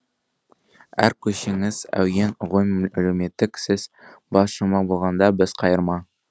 әр көшеңіз әуен ғой әлеуметтік сіз бас шумақ болғанда біз қайырма